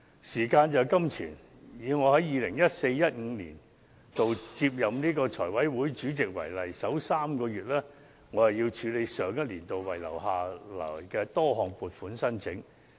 時間便是金錢，舉例而言，我於 2014-2015 年度接任財委會主席，首3個月須處理上一年度遺留下來的多項撥款申請。